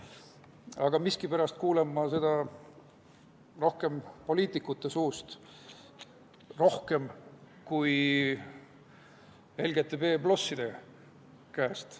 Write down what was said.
Aga miskipärast kuulen ma seda rohkem poliitikute suust, rohkem kui LGBT+ käest.